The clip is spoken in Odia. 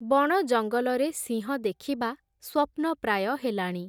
ବଣ ଜଙ୍ଗଲରେ ସିଂହ ଦେଖିବା ସ୍ଵପ୍ନପ୍ରାୟ ହେଲାଣି ।